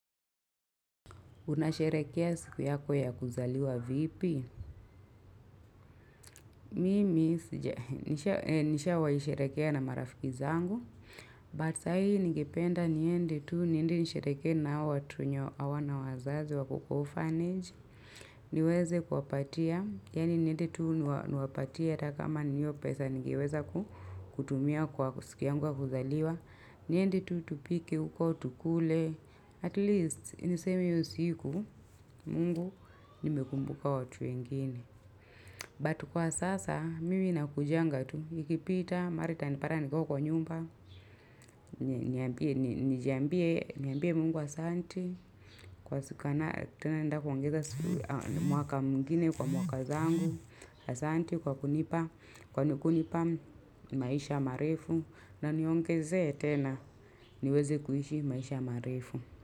Unasherehekea siku yako ya kuzaliwa vipi. Mimi nishawaisherehekea na marafiki zangu. But sa hii nigipenda niende tu niende nishereheke na watu wenye hawana wazazi wako kwa orphanage niweze kuwa patia. Yani niendi tu niwapatia kama ni hiyo pesa ningiweza kutumia kwa siku yangu wa kuzaliwa. Niende tu tupike huko tukule. At least, niseme hiyo siku, mungu nimekumbuka watu wengine. But kwa sasa, mimi nakujanga tu, ikipita, mara itanipata, nikiwa kwa nyumba, nijambie mungu asanti, kwa siku na tena nda kuongeza mwaka mwingine kwa mwaka zangu, asanti kwa kunipa, kwani kunipa maisha marefu, na niongeze tena niweze kuishi maisha marefu.